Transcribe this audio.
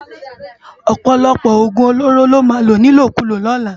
Òpòlòpò ógún ólórô lò má ló nilókúló lòlá